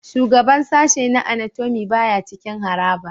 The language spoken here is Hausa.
Shugaban sashen na Anatomy baya cikin harabar